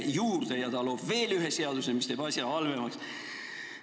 Eelnõu heakskiitmine looks veel ühe seaduse, mis teeb asja halvemaks.